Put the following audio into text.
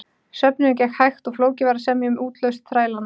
Söfnunin gekk hægt og flókið var að semja um útlausn þrælanna.